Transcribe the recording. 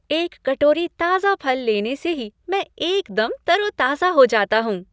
एक कटोरी ताजा फल लेने से ही मैं एकदम तरोताजा हो जाता हूँ।